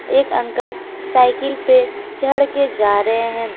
एक uncle cycle पे चढ़ के जा रहे हैं।